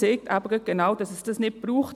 Dies zeigt, dass es das nicht braucht;